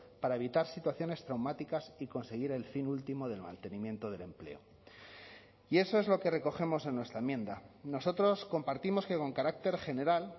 para evitar situaciones traumáticas y conseguir el fin último del mantenimiento del empleo y eso es lo que recogemos en nuestra enmienda nosotros compartimos que con carácter general